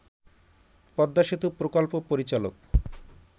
পদ্মা সেতু প্রকল্প পরিচালক